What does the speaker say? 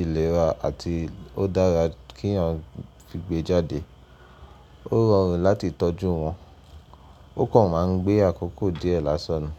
ìlera àti ó dára kí èèyàn fi gbejáde. Ó rọrùn láti tọ́jú wọn, ó kọ̀ máa ń gbé àkókò díẹ̀ lásàn ni.